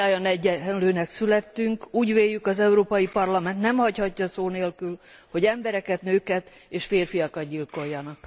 Mindnyájan egyenlőnek születtünk, úgy véljük, az Európai Parlament nem hagyhatja szó nélkül, hogy embereket, nőket és férfiakat gyilkoljanak.